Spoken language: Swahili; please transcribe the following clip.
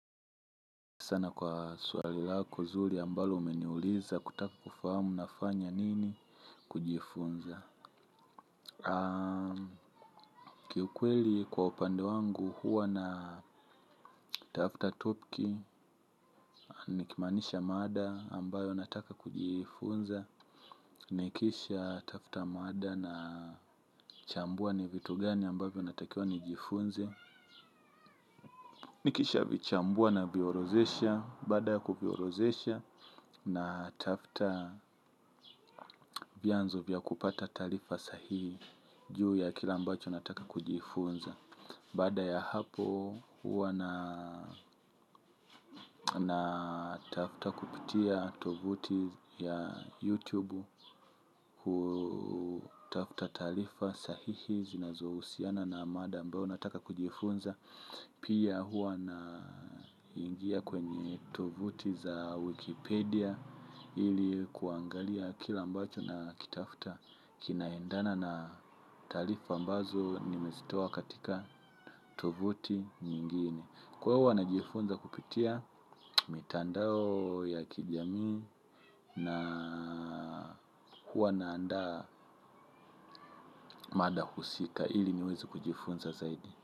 Sana kwa suali lako zuri ambalo umeniuliza kutaka kufahamu nafanya nini kujifunza. Kiukweli kwa upande wangu huwa natafta topki. Nikimaanisha mada ambayo nataka kujifunza. Nikisha tafta mada na chambua ni vitu gani ambavyo natakiwa nijifunze. Nikisha vichambua na viorodhesha baada ya kuviorodhesha natafta vyanzo vya kupata taarifa sahihi juu ya kile mbacho nataka kujifunza. Baada ya hapo huwa na tafta kupitia tovuti ya YouTube hu tafta taarifa sahihi zinazohusiana na mada ambayo nataka kujifunza. Pia huwa na ingia kwenye tovuti za Wikipedia ili kuangalia kila ambacho na kitafta kinaendana na taarifa ambazo nimezitowa katika tovuti nyingine. Kwa hua wanajifunza kupitia mtandao ya kijamii na huwa na andaa mada husika ili niwezi kujifunza zaidi.